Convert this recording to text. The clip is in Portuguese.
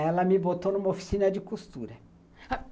Ela me botou numa oficina de costura